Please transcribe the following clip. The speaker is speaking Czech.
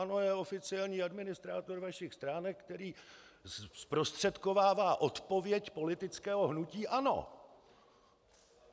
ANO je oficiální administrátor vašich stránek, který zprostředkovává odpověď politického hnutí ANO.